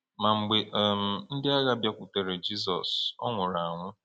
Ma mgbe um ndị agha bịakwutere Jizọs, Ọ nwụrụ anwụ.